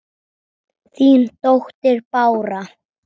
Þín dóttir Bára.